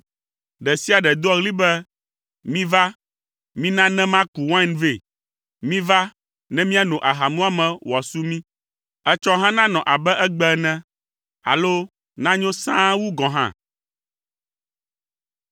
Ɖe sia ɖe doa ɣli be, “Miva, mina ne maku wain vɛ! Miva ne miano aha muame wòasu mi! Etsɔ hã nanɔ abe egbe ene alo nanyo sãa wu gɔ̃ hã.”